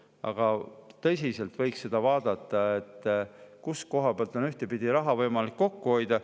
Aga tõsiselt võiks vaadata seda, kus on raha võimalik kokku hoida.